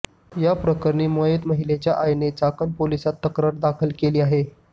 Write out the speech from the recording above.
याप्रकरणी मयत महिलेच्या आईने चाकण पोलिसात तक्रार दाखल केली आहे